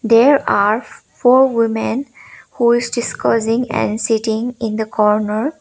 there are f-four women who is discussing and sitting in the corner.